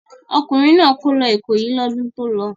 Ọkùnrin náà kó lọ Ìkòyí lọ́dún tó lọ.